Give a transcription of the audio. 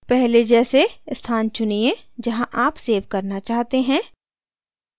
पहले जैसे स्थान चुनिए जहाँ आप सेव करना चाहते हैं